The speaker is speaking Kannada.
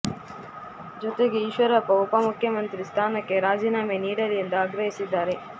ಜೊತೆಗೆ ಈಶ್ವರಪ್ಪ ಉಪ ಮುಖ್ಯ ಮಂತ್ರಿ ಸ್ಥಾನಕ್ಕೆ ರಾಜೀನಾಮೆ ನೀಡಲಿ ಎಂದು ಆಗ್ರಹಿಸಿದ್ದಾರೆ